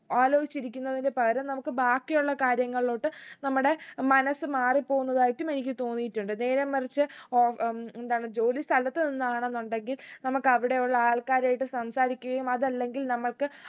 ആലോചിച്ചിരിക്കുന്നതിന് പകരം നമുക്ക് ബാക്കിയുള്ള കാര്യങ്ങളിലോട്ട് നമ്മടെ മനസ്സ് മാറിപ്പോന്നതായിട്ടും എനിക്ക് തോന്നീട്ടുണ്ട് നേരെമറിച്ച് ഓ അഹ് ഉം എന്താണ് ജോലിസ്ഥലത്ത് നിന്നാണെന്നുണ്ടെങ്കിൽ നമക്ക് അവിടെയുള്ള ആൾക്കാരായിട്ട് സംസാരിക്കുകയും അതെല്ലെങ്കിൽ നമ്മക്ക്